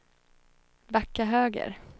backa höger